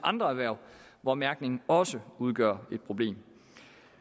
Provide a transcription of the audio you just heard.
andre erhverv hvor mærkningen også udgør et problem